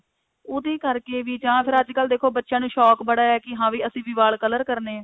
ਯੂਹਦੇ ਕਰਕੇ ਵੀ ਜਾਂ ਫੇਰ ਅੱਜਕਲ ਦੇਖੋ ਬੱਚਿਆਂ ਨੂੰ ਸ਼ੋਂਕ ਬੜਾ ਹੈ ਕਿ ਹਾਂ ਅਸੀਂ ਵੀ ਵਾਲ color ਕਰਨੇ ਹੈ